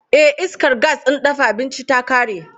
Eh, iskar gas ɗin dafa abinci ta ƙare.